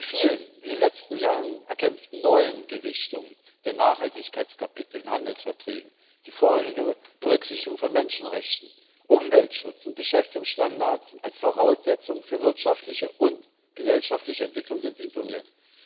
Die vielen in den letzten Jahren erkämpften neuen Gewichtungen der Nachhaltigkeitskapitel in Handelsverträgen, die vorrangige Berücksichtigung von Menschenrechten, Umweltschutz und Beschäftigungsstandards als Voraussetzungen für wirtschaftliche und gesellschaftliche Entwicklung werden ignoriert.